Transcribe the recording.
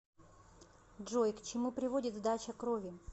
джой к чему приводит сдача крови